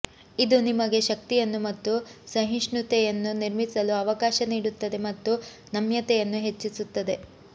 ಇದು ನಿಮಗೆ ಶಕ್ತಿಯನ್ನು ಮತ್ತು ಸಹಿಷ್ಣುತೆಯನ್ನು ನಿರ್ಮಿಸಲು ಅವಕಾಶ ನೀಡುತ್ತದೆ ಮತ್ತು ನಮ್ಯತೆಯನ್ನು ಹೆಚ್ಚಿಸುತ್ತದೆ